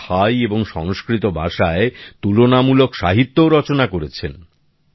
ওঁরা থাই এবং সংস্কৃত ভাষায় তুলনামূলক সাহিত্যও রচনা করেছেন